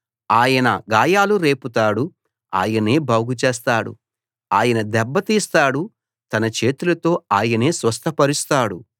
ఆయన గాయాలు రేపుతాడు ఆయనే బాగు చేస్తాడు ఆయన దెబ్బ తీస్తాడు తన చేతులతో ఆయనే స్వస్థపరుస్తాడు